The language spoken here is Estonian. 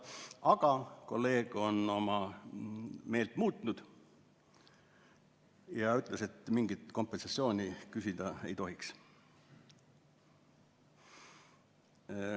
Aga kolleeg on oma meelt muutnud ja ütles, et mingit kompensatsiooni küsida ei tohiks.